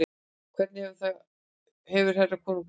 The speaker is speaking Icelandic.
Hvernig hefur herra konungurinn það?